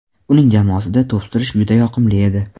Uning jamoasida to‘p surish juda yoqimli edi.